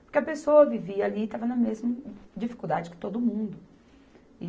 Porque a pessoa vivia ali e estava na mesma dificuldade que todo mundo.